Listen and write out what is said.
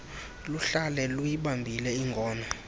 luhlale luyibambile ingono